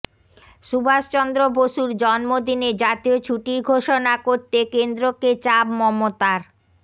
সুভাষচন্দ্র বসুর জন্মদিনে জাতীয় ছুটির ঘোষণা করতে কেন্দ্রকে চাপ মমতার